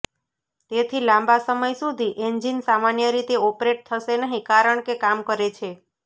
તેથી લાંબા સમય સુધી એન્જિન સામાન્ય રીતે ઓપરેટ થશે નહીં કારણ કે કામ કરે છે